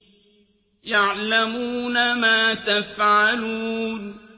يَعْلَمُونَ مَا تَفْعَلُونَ